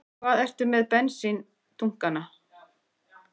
Hvar ertu með bensíndunkana?